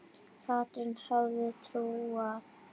Katrín hafði trúað